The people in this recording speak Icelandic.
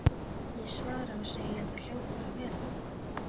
Ég svara og segi að það hljóti bara að vera.